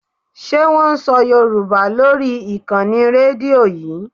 Ṣé wón ń sọ Yorùbá lórí ìkànnì Rédíò yí?